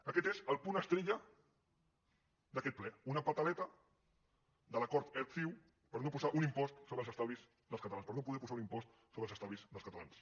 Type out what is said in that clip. aquest és el punt estrella d’aquest ple una pataleta de l’acord erc ciu per no posar un impost sobre els estalvis dels catalans per no poder posar un impost sobre els estalvis dels catalans